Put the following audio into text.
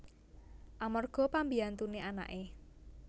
Amarga pambiyantuné anaké